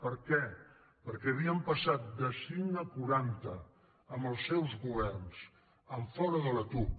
per què perquè havien passat de cinc a quaranta amb els seus governs fora de la tuc